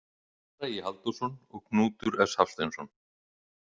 Bragi Halldórsson og Knútur S Hafsteinsson.